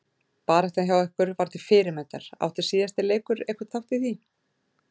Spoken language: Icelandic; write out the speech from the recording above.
Baráttan hjá ykkur var til fyrirmyndar, átti síðasti leikur einhvern þátt í því?